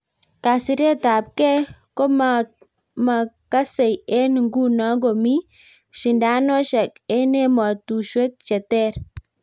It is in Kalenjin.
kasiret ab kee ko maakasei eng nguno komi shidoshek eng emetushwek cheter